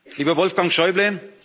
Lieber Wolfgang Schäuble!